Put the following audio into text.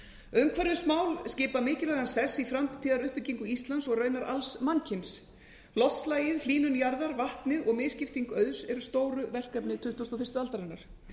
umhverfismál skipa mikilvægan sess í framtíðaruppbyggingu íslands og raunar alls mannkyns loftslagið hlýnun jarðar vatnið og misskipting auðs eru stóru verkefni tuttugasta og fyrstu aldarinnar